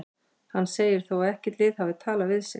Hann segir þó að ekkert lið hafi talað við sig.